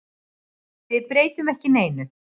Við breytum ekki neinu.